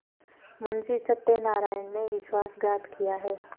मुंशी सत्यनारायण ने विश्वासघात किया है